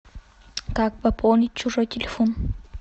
как пополнить чужой телефон